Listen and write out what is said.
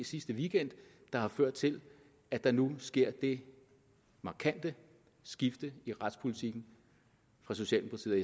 sidste weekend der har ført til at der nu sker det markante skifte i retspolitikken fra socialdemokratiet